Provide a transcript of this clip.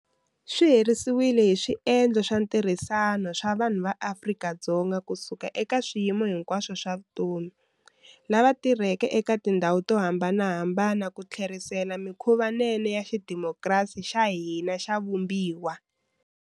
Swi herisiwile hi swiendlo swa ntirhisano swa vanhu va Afrika-Dzonga kusuka eka swiyimo hinkwaswo swa vutomi, lava tirhaka eka tindhawu to hambanahambana ku tlherisela mikhuvanene ya xidemokirasi xa hina xa vumbiwa.